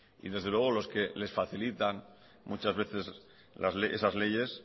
y desde luego los que les facilitan muchas veces esas leyes